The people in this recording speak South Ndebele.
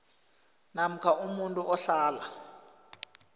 namkha umuntu ohlala